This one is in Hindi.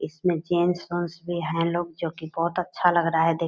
इसमें जेंट्स वेंट्स भी है लोग जो की बहुत अच्छा लग रहा है देख --